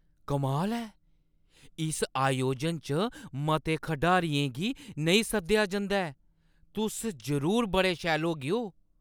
कमाल ऐ! इस आयोजन च मते खढारियें गी नेईं सद्देआ जंदा ऐ। तुस जरूर बड़े शैल होगेओ!